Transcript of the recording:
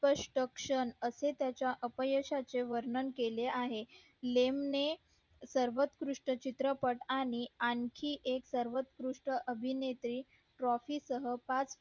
असे त्याच्या अपयशा चे वर्णन केले आहे लेम ने सर्वंकृष्ट चित्रपट आणि आणखी एक सर्वंकृष्ट अभिनेत्री trophy सह पाच